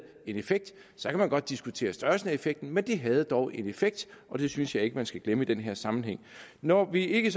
en effekt så kan man godt diskutere størrelsen af effekten men det havde dog en effekt og det synes jeg ikke man skal glemme i den her sammenhæng når vi ikke